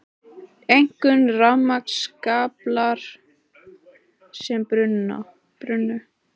Einkum rafmagnskaplar sem brunnu